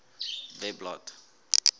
webblad